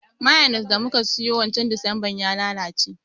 Mayones da muka siyo wancan desemba ya lalace